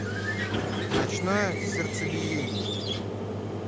ночное сердцебиение